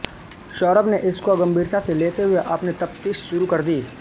सौरभ ने इसको गंभीरता से लेते हुए अपनी तफ्तीश शुरु कर दी